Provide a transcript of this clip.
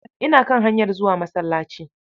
Ina kan hanyar zuwa masallaci.